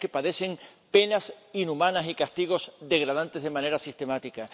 mujeres que padecen penas inhumanas y castigos degradantes de manera sistemática.